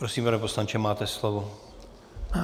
Prosím, pane poslanče, máte slovo.